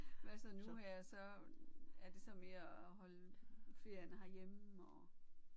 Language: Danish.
Hvad så nu her så er det så mere at holde ferien herhjemme og